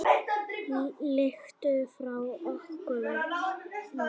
Lykt frá ókunnum löndum.